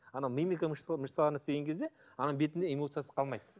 анау мимика мышцаларына істеген кезде ананың бетінде эмоциясы қалмайды